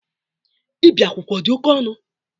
Ibi akwụkwọ ọ dị oke ọnụ?